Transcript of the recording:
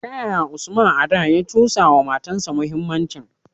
Ta yaya Usman a da, ya cusa wa matasa muhimmancin?